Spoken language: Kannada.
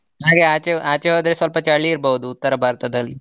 ಹಾಗೆ ಆಚೆ ಆಚೆ ಹೋದ್ರೆ ಸ್ವಲ್ಪ ಚಳಿ ಇರ್ಬೋದು ಉತ್ತರ ಭಾರತದಲ್ಲಿ.